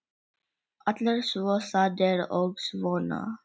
Allir svo saddir og svona.